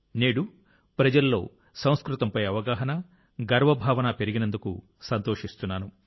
నేడు ప్రజలలో సంస్కృతంపై అవగాహన గర్వ భావన పెరిగినందుకు సంతోషిస్తున్నాను